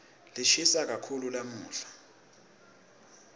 lishisa kakhulu lamuhla